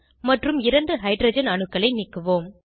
மற்றும் இரண்டு ஹைட்ரஜன் அணுக்களை நீக்குவோம்